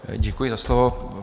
Děkuji za slovo.